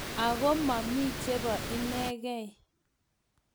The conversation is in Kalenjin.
ako mami chebo inengei